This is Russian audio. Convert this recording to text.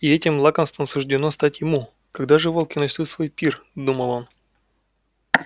и этим лакомством суждено стать ему когда же волки начнут свой пир думал он